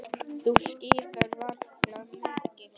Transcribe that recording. Þú skíðar varla mikið.